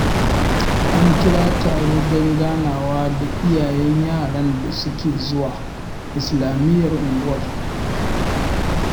An kira taro don ganawa da iyayen yaran da suke zuwa islamiyyar unguwar